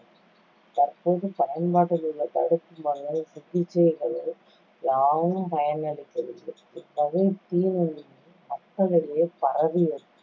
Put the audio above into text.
தற்போது பயன்பாட்டில் உள்ள தடுப்பு மருந்துகள், சிகிச்சைகள் யாவும் பயனளிக்கவில்லை. இவ்வகை தீநுண்மி மக்களிடையே பரவியது,